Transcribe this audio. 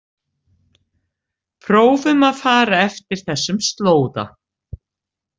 Prófum að fara eftir þessum slóða.